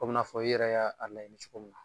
O bɛna fɔ i yɛrɛ y'a laɲini cogo min na